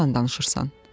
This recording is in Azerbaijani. Niyə yalan danışırsan?"